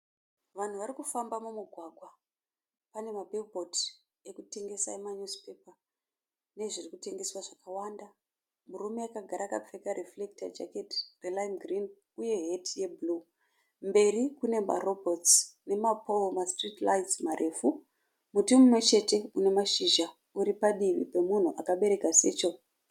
Vanhu vari kufamba mumugwagwa. Pane mabhiribhodhodzi ekutengesa emanyuzipepa nezviri kutengeswa zvakawanda. Murume akagara akapfeka rifurekita jaketi yeraimu girinhi uye heti yebhuruu. Mberi kune marobhotsi nemapooro emasitiriti raitsi marefu. Muti mumwe chete une mashizha uri padivi pemunhu akabereka secheri.